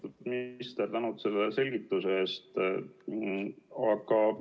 Austatud minister, tänan selle selgituse eest!